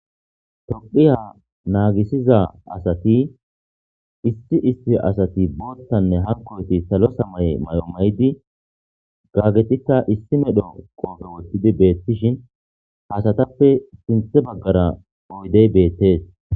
tophiya naagisiza asati issi isti asati booltanne hankoyti salo samay may7o maydi gaggetikka issi medho qoofe wottidi beettishin hasatappe sinthe baggara oydey beettes